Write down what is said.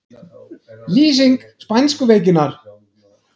Lýsing spænsku veikinnar